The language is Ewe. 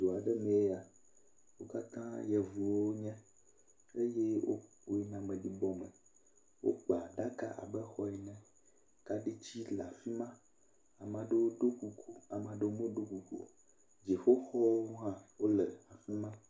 Du aɖe mee ya, wo katãa yevuwo wonye, eye woyina ameɖibɔ me, wokpa ɖaka abe xɔ ene, kaɖiti le afi ma, ame aɖewo ɖɔ kuku, ame aɖewo meɖɔ kuku o, dziƒoxɔwo hã wole afi ma.